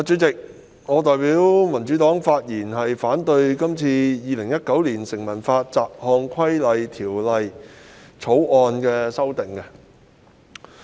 主席，我代表民主黨發言反對《2019年成文法條例草案》所訂修訂事項。